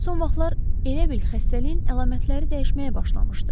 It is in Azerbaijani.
Son vaxtlar elə bil xəstəliyin əlamətləri dəyişməyə başlamışdı.